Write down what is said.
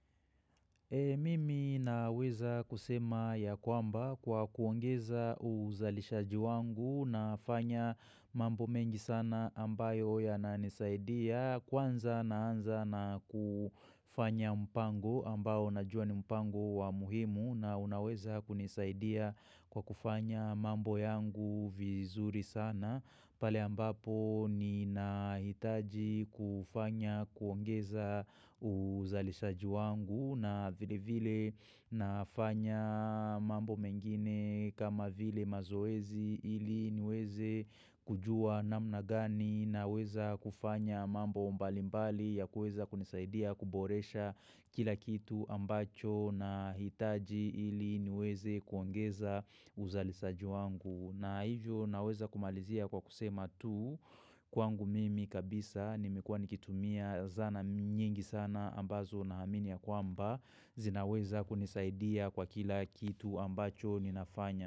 Mimi naweza kusema ya kwamba kwa kuongeza uzalishaji wangu nafanya mambo mengi sana ambayo ya na nisaidia. Kwanza naanza na kufanya mpango ambao na jua ni mpango wa muhimu na unaweza kunisaidia kwa kufanya mambo yangu vizuri sana. Pale ambapo nina hitaji kufanya kuongeza uzalishaji wangu na vile vile nafanyaa mambo mengine kama vile mazoezi ili niweze kujua namna gani na weza kufanya mambo mbalimbali ya kuweza kunisaidia kuboresha kila kitu ambacho na hitaji ili niweze kuongeza uzalisaji wangu. Na hijo naweza kumalizia kwa kusema tu kwangu mimi kabisa nimekuwa nikitumia zana nyingi sana ambazo na hamini ya kwamba zinaweza kunisaidia kwa kila kitu ambacho ninafanya.